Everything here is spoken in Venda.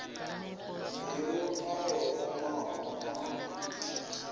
miṋu na yo omaho na